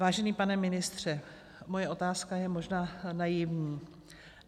Vážený pane ministře, moje otázka je možná naivní.